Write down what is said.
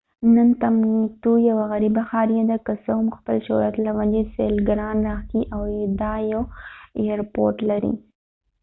نن ټمبکټو یوه غریبه ښاریه ده که څه هم خپل شهرت له وجې سېلګران راښکي او دا یو اېیرپورټ لري